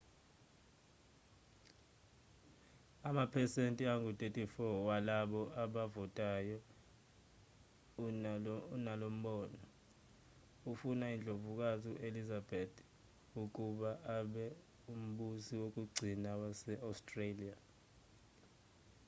amaphesenti angu-34 walabo abavotayo unalombono ufuna indlovukazi u-elizabeth ii ukuba abe umbusi wokugcina wase-australia